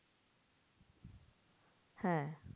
হ্যাঁ